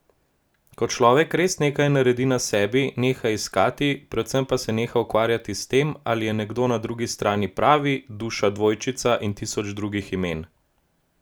Ko človek res nekaj naredi na sebi, neha iskati, predvsem pa se neha ukvarjati s tem, ali je nekdo na drugi strani pravi, duša dvojčica in tisoč drugih imen!